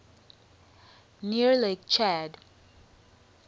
near lake chad